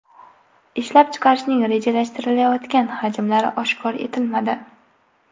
Ishlab chiqarishning rejalashtirilayotgan hajmlari oshkor etilmadi.